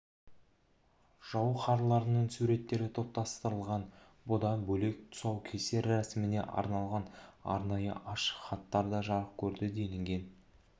жауһарларының суреттері топтастырылған бұдан бөлек тұсаукесер рәсіміне арналған арнайы ашық хаттар да жарық көрді делінген